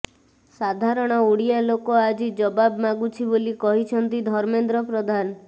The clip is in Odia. ସାଧାରଣ ଓଡିଆ ଲୋକ ଆଜି ଜବାବ ମାଗୁଛି ବୋଲି କହିଛନ୍ତି ଧର୍ମେନ୍ଦ୍ର ପ୍ରଧାନ